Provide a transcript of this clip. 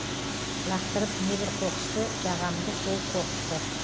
лақтырып небір қоқысты жағамды сол қоқысты